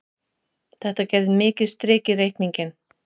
Þetta gerði mikið strik í reikninginn.